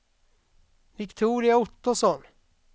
Viktoria Ottosson